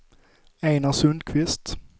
Einar Sundkvist